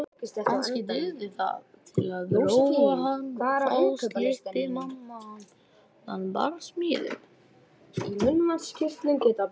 Kannski dygði það til að róa hann og þá slyppi mamma undan barsmíðunum.